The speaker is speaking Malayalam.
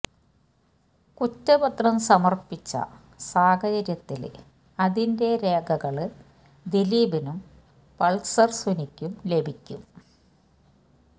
കുറ്റ പത്രം സമര്പ്പിച്ച സാഹചര്യത്തില് അതിന്റെ രേഖകള് ദിലീപിനും പള്സര് സുനിക്കും ലഭിക്കും